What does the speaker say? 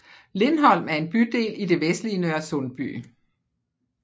Lindholm er en bydel i det vestlige Nørresundby